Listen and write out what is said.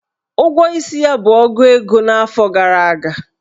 Ụgwọ isi ya bụ ogu ego n'afọ gara aga.